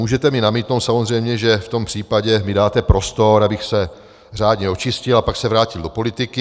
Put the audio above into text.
Můžete mi namítnout samozřejmě, že v tom případě mi dáte prostor, abych se řádně očistil a pak se vrátil do politiky.